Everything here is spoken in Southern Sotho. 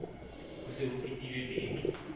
ho se ho fetile beke